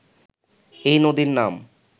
এই নদীর নাম